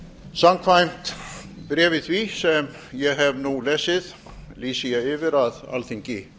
samkvæmt bréfi því sem ég hef nú lesið lýsi ég yfir að alþingi